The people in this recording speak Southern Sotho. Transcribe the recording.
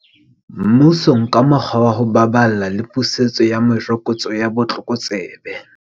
Mmusong ka mokgwa wa ho baballa le pusetso ya merokotso ya botlokotsebe.